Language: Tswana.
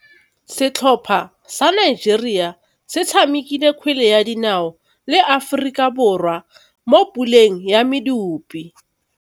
Setlhopha sa Nigeria se tshamekile kgwele ya dinaô le Aforika Borwa mo puleng ya medupe.